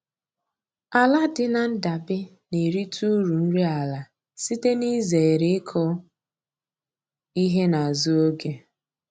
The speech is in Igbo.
Ala dị na ndabe na-erita uru nri ala site n'izere ịkụ ihe n'azụ oge